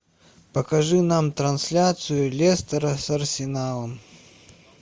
покажи нам трансляцию лестера с арсеналом